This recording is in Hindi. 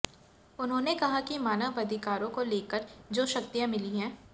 उन्हांेने कहा कि मानव अधिकारांे को लेकर जो शक्तियां मिली हैं